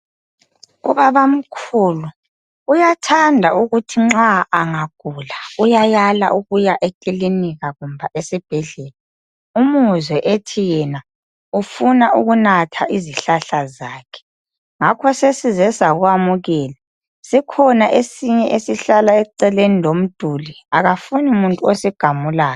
Ubabamkhulu uyathathanda ukuthi nxa angagula uyayala ukuya ekilinika kumbe esibhedlela, umuzwe ethi yena ufuna ukunatha izihlahla zakhe, ngakho sesize sakwamukela. Sikhona esinye esihlala eceleni lomduli, akafuni muntu osigamulayo.